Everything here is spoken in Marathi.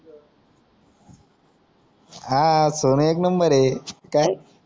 आर सोनं एक नंबरये काय